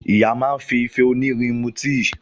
Ìyá máa fi ìfẹ́ onírin mú tíì